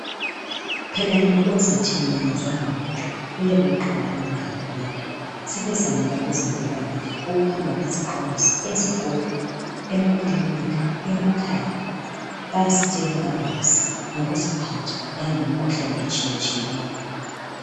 Phela yena othi kazwanga lutho uyabe eqamba amanga ngempela sebezamile abezimpilakahle ukuhamba bexwayisa ezikolo, emakilinika emakhaya bayasitshela kabanzi ngokuziphatha langemikhuhlane etshiyatshiyeneyo.